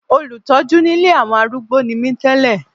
Olùtọ́jú nílé àwọn arúgbó ni mí tẹ́lẹ̀.